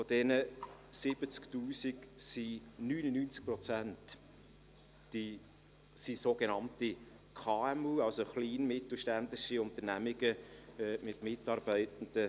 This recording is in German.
Von diesen sind 99 Prozent kleine und mittelständische Unternehmungen mit maximal 250 Mitarbeitenden.